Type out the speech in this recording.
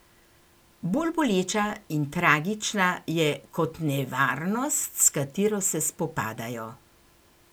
Bolj boleča in tragična je kot nevarnost, s katero se spopadajo.